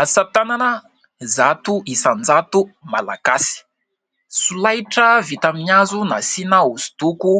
Asa tanana zato isan-jato Malagasy, solaitra vita amin'ny hazo nasiana hosodoko